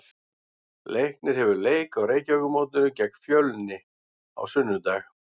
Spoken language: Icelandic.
Leiknir hefur leik á Reykjavíkurmótinu gegn Fjölni á sunnudag.